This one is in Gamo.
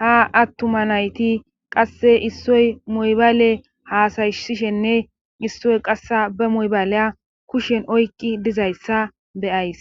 ha attuma nayti qasse issoy moybale haasayshishenne issoy qassa be moybaleya kushen oykqi dizayssa be'ays